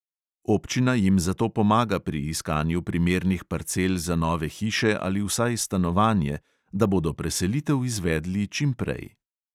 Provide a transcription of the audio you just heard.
Občina jim zato pomaga pri iskanju primernih parcel za nove hiše ali vsaj stanovanje, da bodo preselitev izvedli čim prej.